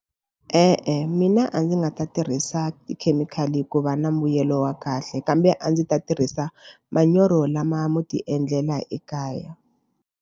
E-e, mina a ndzi nga ta tirhisa tikhemikhali ku va na mbuyelo wa kahle kambe a ndzi ta tirhisa manyoro lama mo tiendlela ekaya.